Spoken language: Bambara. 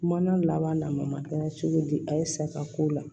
Mana laban na ma kɛ cogo di a ye saga ko la